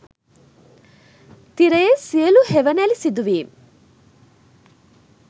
තිරයේ සියළු හෙවනැලි සිදුවීම්